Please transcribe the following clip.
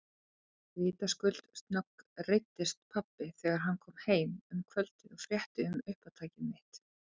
Vitaskuld snöggreiddist pabbi þegar hann kom heim um kvöldið og frétti um uppátæki mitt.